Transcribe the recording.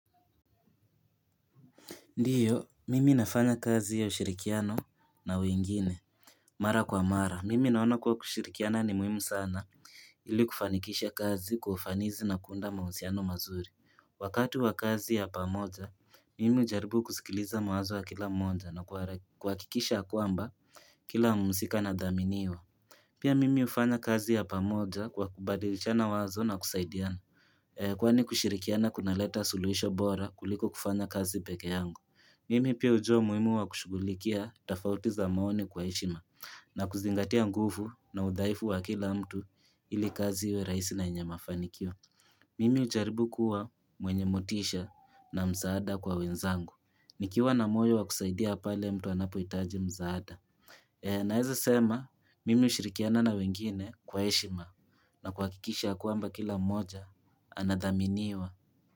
Ndiyo, mimi nafanya kazi ya ushirikiano na wengine Mara kwa mara, mimi naona kwa kushirikiana ni muhimu sana ili kufanikisha kazi kwa ufanizi na kuunda mahusiano mazuri Wakati wa kazi ya pamoja, mimi ujaribu kusikiliza mawazo wa kila mmoja na kuhakikisha ya kwamba kila mhusika na dhaminiwa Pia mimi ufanya kazi ya pamoja kwa kubadilichana wazo na kusaidiana Kwani kushirikiana kuna leta suluhisho bora kuliko kufanya kazi pekee yangu Mimi pia ujua umuhimu wa kushugulikia tafautiza maoni kwa heshima na kuzingatia nguvu na udhaifu wa kila mtu ili kazi iwe rahisi na yenyema fanikio Mimi ujaribu kuwa mwenye motisha na msaada kwa wenzangu nikiwa na moyo wa kusaidia pale mtu anapohitaji mzaada na eza sema mimi ushirikiana na wengine kwa heshima na kuha kikisha ya kwamba kila moja anadhaminiwa.